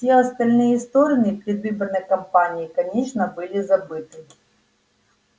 все остальные стороны предвыборной кампании конечно были забыты